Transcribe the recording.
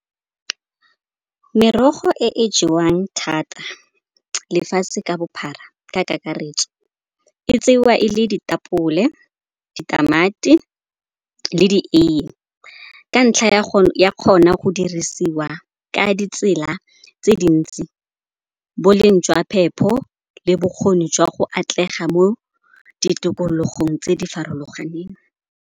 Merogo e e jewang thata lefatshe ka bophara ka kakaretso e tsewa e le ditapole, ditamati le dieiye. Ka ntlha ya go dirisiwa ka ditsela tse dintsi boleng jwa phepho le bokgoni jwa go atlega mo ditikologong tse di farologaneng.